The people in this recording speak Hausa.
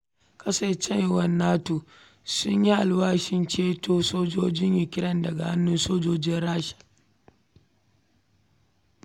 Ƙasashen NATO sun yi alwashin ceto sojojin Ukraine daga hannun Rasha.